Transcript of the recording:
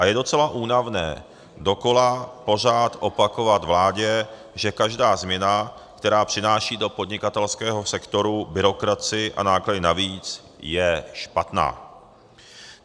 A je docela únavné dokola pořád opakovat vládě, že každá změna, která přináší do podnikatelského sektoru byrokracii a náklady navíc, je špatná.